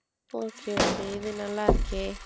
okay okay இது நல்லா இருக்கே.